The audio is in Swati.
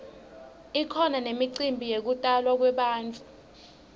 kukhona nemicimbi yekutalwa kwebantfu